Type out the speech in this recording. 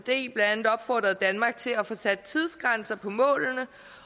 blandt andet opfordret danmark til at få sat tidsgrænser på målene